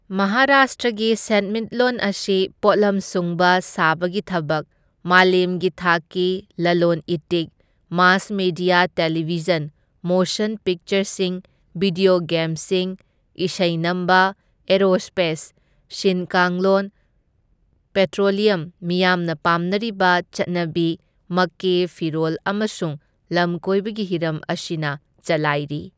ꯃꯍꯥꯔꯥꯁꯇ꯭ꯔꯒꯤ ꯁꯦꯟꯃꯤꯠꯂꯣꯟ ꯑꯁꯤ ꯄꯣꯠꯂꯝ ꯁꯨꯡꯕ ꯁꯥꯕꯒꯤ ꯊꯕꯛ, ꯃꯥꯂꯦꯝꯒꯤ ꯊꯥꯛꯀꯤ ꯂꯂꯣꯟ ꯏꯇꯤꯛ, ꯃꯥꯁ ꯃꯦꯗꯤꯌꯥ ꯇꯦꯂꯤꯚꯤꯖꯟ, ꯃꯣꯁꯟ ꯄꯤꯛꯆꯔꯁꯤꯡ, ꯚꯤꯗ꯭ꯌꯣ ꯒꯦꯝꯁꯤꯡ, ꯏꯁꯩ ꯅꯝꯕ, ꯑꯦꯔꯣꯁ꯭ꯄꯦꯁ, ꯁꯤꯟ ꯀꯥꯡꯂꯣꯟ, ꯄꯦꯇ꯭ꯔꯣꯂ꯭ꯌꯝ, ꯃꯤꯌꯥꯝꯅ ꯄꯥꯝꯅꯔꯤꯕ ꯆꯠꯅꯕꯤ ꯃꯀꯦ, ꯐꯤꯔꯣꯜ ꯑꯃꯁꯨꯡ ꯂꯝꯀꯣꯏꯕꯒꯤ ꯍꯤꯔꯝ ꯑꯁꯤꯅ ꯆꯜꯂꯥꯏꯔꯤ꯫